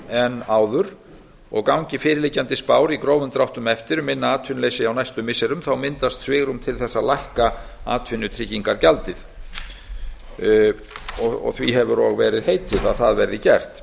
en áður gangi fyrirliggjandi spár í grófum dráttum eftir um minna atvinnuleysi á næstu missirum myndast svigrúm til þess að lækka atvinnutryggingagjaldið því hefur og verið heitið að það verði gert